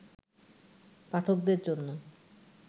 পাঠকদের জন্য